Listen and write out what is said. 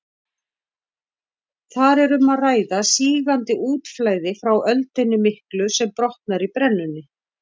Þar er um að ræða sígandi útflæði frá öldunni miklu sem brotnar í brennunni.